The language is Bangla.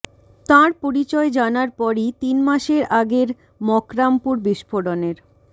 তাঁর পরিচয় জানার পরই তিন মাসের আগের মকর়ামপুর বিস্ফোরণের